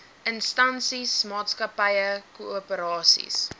instansies maatskappye koöperasies